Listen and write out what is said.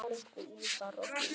Elsku Úlfar okkar.